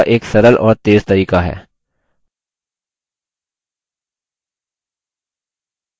यह reports बनाने का एक सरल और तेज़ तरीका है